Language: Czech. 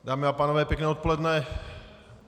Dámy a pánové, pěkné odpoledne.